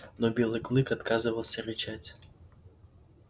но белый клык отказывался рычать